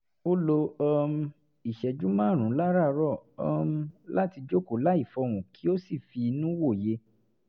ó lo um ìṣẹ́jú márùn-ún láràárọ̀ um láti jókòó láì fọhùn kí ó sì fi inú wòye